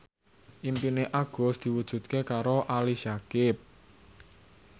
impine Agus diwujudke karo Ali Syakieb